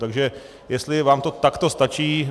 Takže jestli vám to takto stačí.